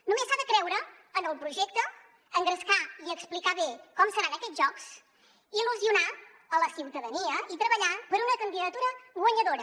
només s’ha de creure en el projecte engrescar i explicar bé com seran aquests jocs i il·lusionar la ciutadania i treballar per una candidatura guanyadora